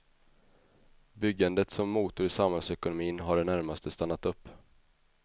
Byggandet som motor i samhällsekonomin har i det närmaste stannat upp.